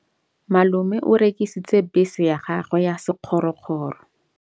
Malome o rekisitse bese ya gagwe ya sekgorokgoro.